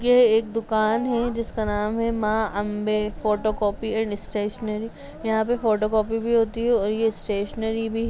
यह एक दुकान है जिसका नाम है Maa Ambe photo copy and stationery यंहा पे फोटो कॉपी भी होती है और स्टेशनरी भी --